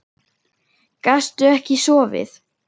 Gastu ekki sofið?